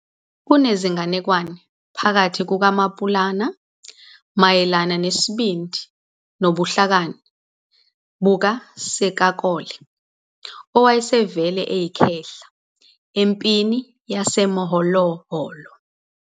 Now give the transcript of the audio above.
Kunezinganekwane phakathi kukaMaPulana mayelana nesibindi nobuhlakani bukaSekakole, owayesevele eyikhehla, empini yaseMoholoholo.